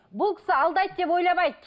бұл кісі алдайды деп ойламайды